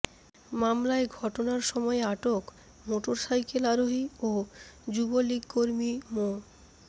মামলায় ঘটনার সময় আটক মোটরসাইকেল আরোহী ও যুবলীগকর্মী মো